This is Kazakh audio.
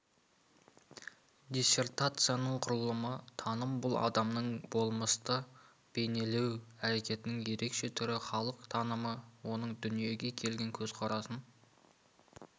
диссертацияның құрылымы таным бұл адамның болмысты бейнелеу әрекетінің ерекше түрі халық танымы оның дүниеге деген көзқарасын